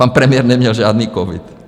Pan premiér neměl žádný covid.